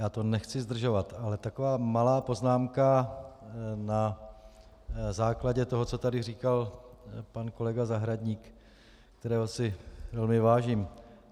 Já to nechci zdržovat, ale taková malá poznámka na základě toho, co tady říkal pan kolega Zahradník, kterého si velmi vážím.